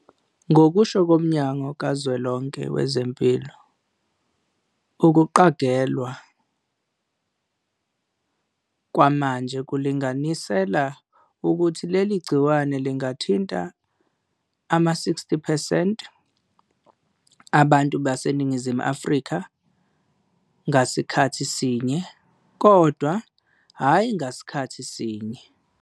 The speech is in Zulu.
Ngokusho koMnyango Kazwelonke Wezempilo, "ukuqagelwa kwamanje kulinganisela ukuthi leli gciwane lingathinta ama-60 percent abantu baseNingizimu Afrika ngasikhathi sinye, kodwa hhayi ngasikhathi sinye."